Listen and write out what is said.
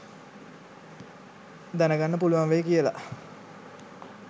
දැන ගන්න පුළුවන් වෙයි කියලා